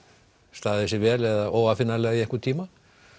staðið sig vel eða óaðfinnanlega í einhvern tíma